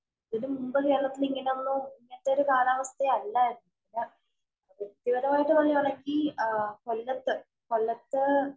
ഇതിനു മുമ്പ് കേരളത്തില്‍ ഇങ്ങനെയൊന്നും, ഇങ്ങനത്തെ ഒരു കാലവസ്ഥയല്ലായിരുന്നു. വ്യക്തിപരമായിട്ട് പറയുകയാണെങ്കില്‍ കൊല്ലത്ത് കൊല്ലത്ത്